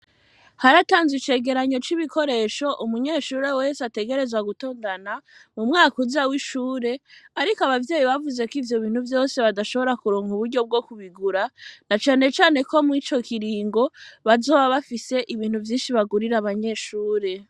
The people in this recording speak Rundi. Haratanzwe icegeranyo c'ibikoresho vyose, umunyeshure wese ategerezwa gutondana mu mwaka uza w'ishure, ariko abavyeyi babuze k'ivyo bintu vyose barashobora kuronka uburyo bwo kubigura, na cane cane ko ico kiringo bazoba bafise ibintu vyinshi bagurira abanyeshure.